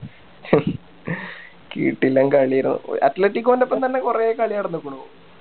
കിടിലൻ കളി ആരുന്നു athletic core ൻ്റെ ഒപ്പം തന്നെ കൊറേ കളി നടന്നിക്കുണു